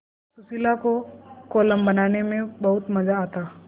सुशीला को कोलम बनाने में बहुत मज़ा आता